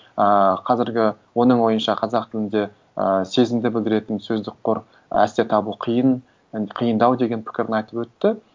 ыыы қазіргі оның ойынша қазақ тілінде ыыы сезімді білдіретін сөздік қор әсте табу қиын і қиындау деген пікірін айтып өтті